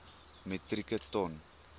metrieke ton